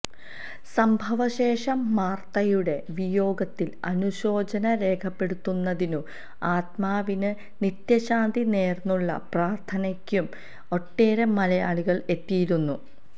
സംഭവ ശേഷം മാർത്തയുടെ വിയോഗത്തിൽ അനുശോചനം രേഖപ്പെടുത്തുന്നതിനും ആത്മാവിന് നിത്യശാന്തി നേർന്നുള്ള പ്രാർത്ഥനയ്ക്കും ഒട്ടേറെ മലയാളികൾ എത്തിയിരുന്നു